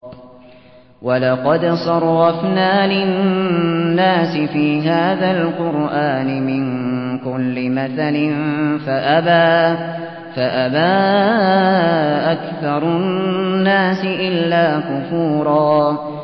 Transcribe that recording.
وَلَقَدْ صَرَّفْنَا لِلنَّاسِ فِي هَٰذَا الْقُرْآنِ مِن كُلِّ مَثَلٍ فَأَبَىٰ أَكْثَرُ النَّاسِ إِلَّا كُفُورًا